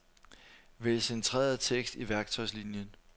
Vælg centreret tekst i værktøjslinien.